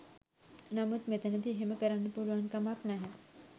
නමුත් මෙතැනදී එහෙම කරන්න පුළුවන්කමක් නැහැ.